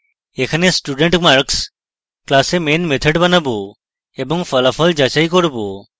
এখন studentmarks class we main method বানাবো এবং ফলাফল যাচাই করব